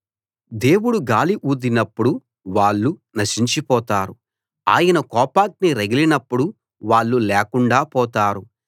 దేవుడు గాలి ఊదినప్పుడు వాళ్ళు నశించిపోతారు ఆయన కోపాగ్ని రగిలినప్పుడు వాళ్ళు లేకుండాా పోతారు